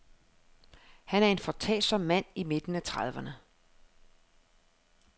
Han er en foretagsom mand i midten af trediverne.